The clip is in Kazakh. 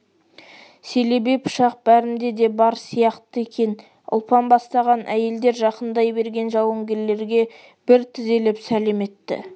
селебе пышақ бәрінде де бар сияқты екен ұлпан бастаған әйелдер жақындай берген жауынгерлерге бір тізелеп сәлем етті